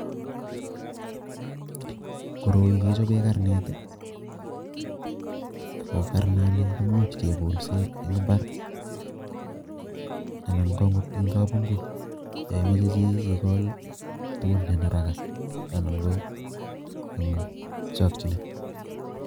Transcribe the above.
koroi kechobe karnet aku karnani kemuch ke kolse eng mbar anan akot eng kapngui ya imeche chii ikoltugun eng haraka anan eng chokchine.